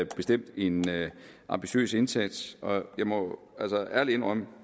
bestemt en ambitiøs indsats og jeg må altså ærligt indrømme